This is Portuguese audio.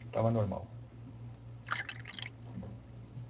Estava normal.